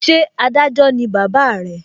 Ṣé Adájọ́ ni bàbá re?